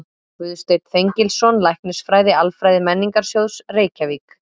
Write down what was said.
Guðsteinn Þengilsson, Læknisfræði-Alfræði Menningarsjóðs, Reykjavík